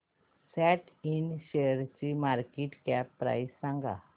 सॅट Ind शेअरची market cap price सांगा